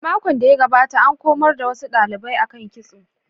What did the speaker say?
A makon da ya gabata, an komar da wasu dalibai akan kitso.